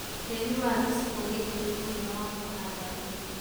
tĩĩri wa gĩcigo gĩĩkĩ nĩ mwega wa kũhanda ndimũ